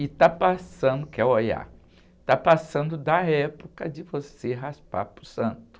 E está passando, que é Oiá, está passando da época de você raspar para o santo.